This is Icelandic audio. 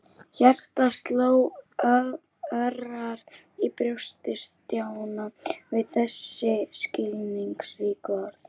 Hjartað sló örar í brjósti Stjána við þessi skilningsríku orð.